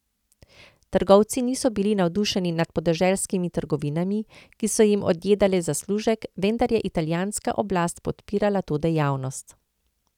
Trgovci niso bili navdušeni nad podeželskimi trgovinami, ki so jim odjedale zaslužek, vendar je italijanska oblast podpirala to dejavnost.